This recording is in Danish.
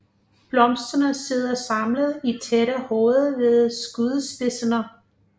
Blomsterne sidder samlet i tætte hoveder ved skudspidserne